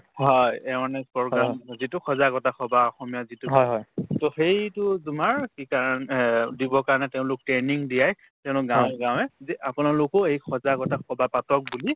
হয় awareness program যিটোক সজাগতা সভা অসমীয়াত যিটোক to সেইটো তোমাৰ কি কাৰণ হে দিবৰ কাৰণে তেওঁলোক training দিয়াই তেওঁলোক গাৱে গাৱে যে আপোনালোকো এই সজাগতা সভা পাতক বুলি